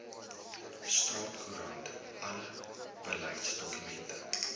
staatskoerant alle beleidsdokumente